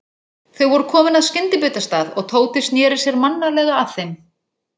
Þau voru komin að skyndibitastað og Tóti sneri sér mannalega að þeim.